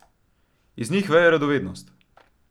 Iz njih veje radovednost.